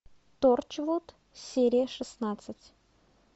торчвуд серия шестнадцать